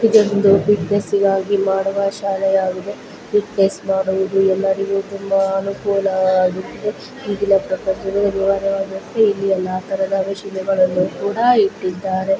ಇದೊಂದು ಫಿಟ್ನೆಸ್ ಮಾಡುವ ಶಾಲೆಯಾಗಿದೆ ಫಿಟ್ನೆಸ್ ಮಾಡುವುದು ಎ ಲ್ಲರಿಗೂ ತುಂಬಾ ಅನುಕೂಲವಾಗಿದೆ. ಇಲ್ಲಿ ಎಲ್ಲಾ ತರದ ಮಷೀನ್ ಗಳನ್ನು ಕೂಡ ಇಟ್ಟಿದ್ದಾರೆ.